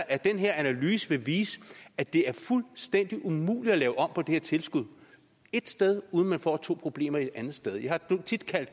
at den her analyse vil vise at det er fuldstændig umuligt at lave om på det her tilskud et sted uden at man får to problemer et andet sted jeg har tit kaldt